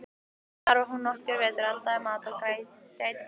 Þar var hún nokkra vetur, eldaði mat og gætti barna.